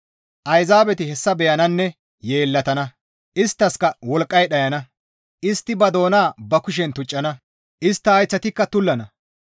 Ayzaabeti hessa beyananne yeellatana; isttaskka wolqqay dhayana; istti ba doona ba kushen tuccana; istta hayththika tullana.